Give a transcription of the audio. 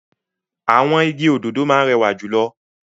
Àwọn igi òdòdó ni ó rẹwà jù lọ.